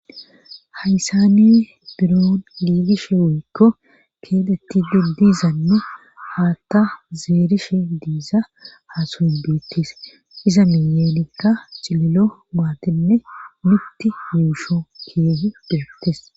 haysani biro liigishe woykko keetetti dirdiizanne haatta zeerish diiza haasuhin biittis iza miyeelikka cililo maatenne mitti yuusho keehu deektes